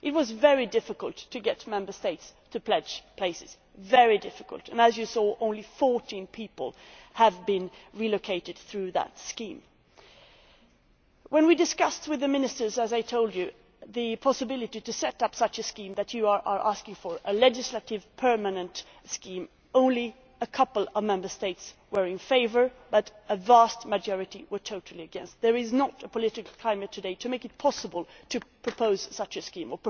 It was very difficult to get Member States to pledge places very difficult and as you saw, only 14 people have been relocated through that scheme. When, as I told you, we discussed with the Ministers the possibility of setting up a scheme such as you are asking for a legislative, permanent scheme only a couple of Member States were in favour, but a vast majority were totally against. There is not the political climate today to make it possible to propose such a scheme.